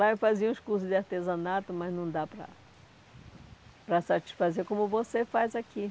Lá eu fazia uns cursos de artesanato, mas não dá para para satisfazer como você faz aqui.